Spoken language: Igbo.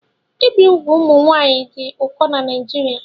Ibi úgwù ụmụ nwanyị dị ụkọ na Naijiria